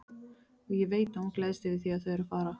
Og ég veit að hún gleðst yfir því að þau eru að fara.